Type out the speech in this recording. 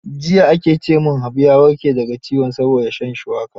Jiya ake ce min, Habu ya warke da ga ciwon saboda shan shuwaka.